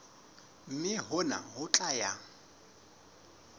mme hona ho tla ya